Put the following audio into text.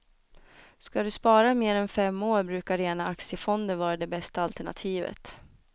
Ska du spara mer än fem år brukar rena aktiefonder vara det bästa alternativet.